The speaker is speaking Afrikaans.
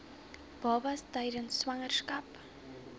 babas tydens swangerskap